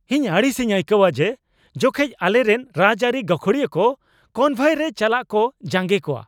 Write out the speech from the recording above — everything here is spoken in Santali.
ᱤᱧ ᱟᱹᱲᱤᱥᱤᱧ ᱟᱹᱭᱠᱟᱹᱣᱟ ᱡᱮ ᱡᱚᱠᱷᱮᱡ ᱟᱞᱮᱨᱮᱱ ᱨᱟᱡᱽᱟᱹᱨᱤ ᱜᱟᱹᱠᱷᱩᱲᱤᱭᱟᱹ ᱠᱚ ᱠᱚᱱᱵᱷᱚᱭᱨᱮ ᱪᱟᱞᱟᱜ ᱠᱚ ᱡᱟᱝᱜᱮ ᱠᱚᱣᱟ ᱾